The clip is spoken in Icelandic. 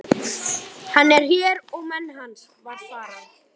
Hann er hér og menn hans, var svarað.